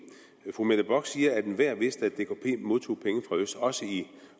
fru mette bock siger at enhver vidste at dkp modtog penge fra øst også i